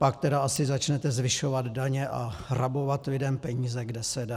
Pak tedy asi začnete zvyšovat daně a rabovat lidem peníze, kde se dá.